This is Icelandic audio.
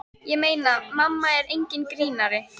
Ég meina, mamma er enginn grínari.